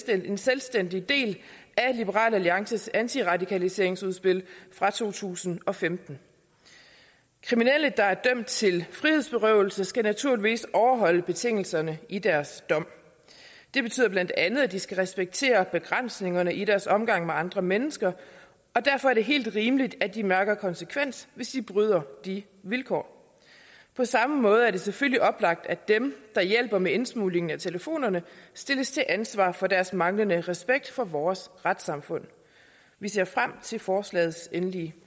en selvstændig del af liberal alliances antiradikaliseringsudspil fra to tusind og femten kriminelle der er dømt til frihedsberøvelse skal naturligvis overholde betingelserne i deres dom det betyder bla at at de skal respektere begrænsningerne i deres omgang med andre mennesker og derfor er det helt rimeligt at de mærker en konsekvens hvis de bryder de vilkår på samme måde er det selvfølgelig oplagt at dem der hjælper med indsmuglingen af telefonerne stilles til ansvar for deres manglende respekt for vores retssamfund vi ser frem til forslagets endelige